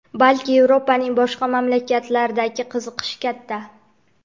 balki Yevropaning boshqa mamlakatlaridagi qiziqish katta.